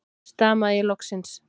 stamaði ég loksins.